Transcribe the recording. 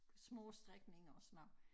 Små strækninger og sådan noget